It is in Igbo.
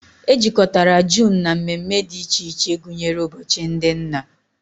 Ejikọtara June na mmemme dị iche iche gụnyere ụbọchị ndị nna